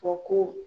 O ko